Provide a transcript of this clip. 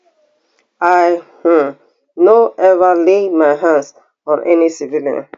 i um no ever lay my hands on any civilian